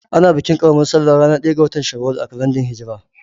Ana bikin ƙaramar salla ranar ɗaya ga Shawwal a kalandar hijra.